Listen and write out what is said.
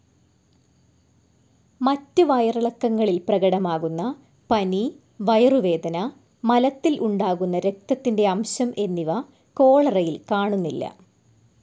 മറ്റ് വയറിളക്കങ്ങളിൽ പ്രകടമാകുന്ന പനി, വയറുവേദന, മലത്തിൽ ഉണ്ടാകുന്ന രക്തത്തിന്റെ അംശം എന്നിവ കോളറയിൽ കാണുന്നില്ല.